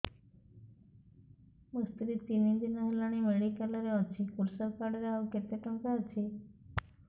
ମୋ ସ୍ତ୍ରୀ ତିନି ଦିନ ହେଲାଣି ମେଡିକାଲ ରେ ଅଛି କୃଷକ କାର୍ଡ ରେ ଆଉ କେତେ ଟଙ୍କା ଅଛି